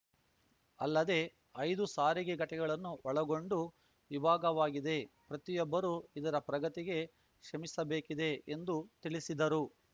ಅಲ್ಲದೆ ಐದು ಸಾರಿಗೆ ಘಟಕಗಳನ್ನು ಒಳಗೊಂಡು ವಿಭಾಗವಾಗಿದೆ ಪ್ರತಿಯೊಬ್ಬರು ಇದರ ಪ್ರಗತಿಗೆ ಶ್ರಮಿಸಬೇಕಿದೆ ಎಂದು ತಿಳಿಸಿದರು